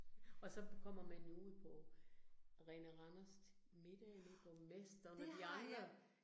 Og så kommer man jo ud på Arena Randers til middag med borgmesteren og de andre